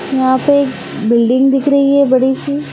यहाँ पे बिल्डिंग दिख रही है बड़ी सी।